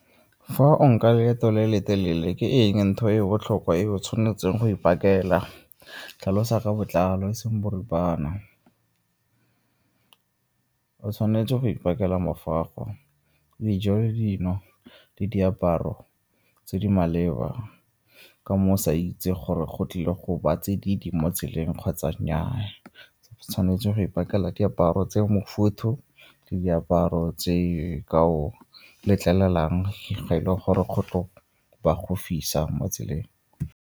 Fa o nka leeto le le telele ke eng ntho e botlhoko e o tshwanetseng go e pakela? Tlhalosa ka botlalo e seng boripana. O tshwanetse go ipakela mofago, dijo le dino le diaparo tse di maleba ka mo o sa itse gore go tlile go ba tsididi mo tseleng kgotsa nnyaa. Tshwanetse go ipakela diaparo tse mofutho, diaparo tse ka o letlelelang ge e le gore tlo ba go fisa mo tseleng.